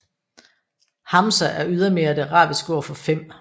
Hamsa er ydermere det arabiske ord for 5